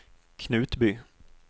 Knutby